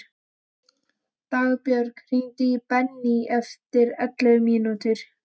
Dagbjörg, hringdu í Benný eftir ellefu mínútur.